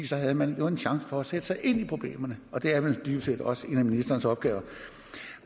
så havde man jo en chance for at sætte sig ind i problemerne og det er vel dybest set også en af ministerens opgaver